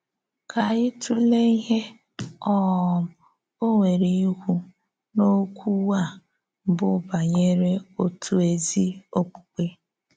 Kà ányị tụlee ìhè um ọ̀ nwerè íkwú n’ókùwu a bụ́ bànyèrè òtù ézí òkpùkpè.